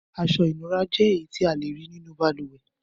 Aṣọ-ìnura jẹ́ èyí tí a le rí nínú balùwẹ̀.